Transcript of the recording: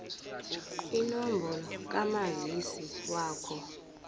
inombolo kamazisi wakho